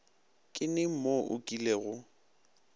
ke neng mo o kilego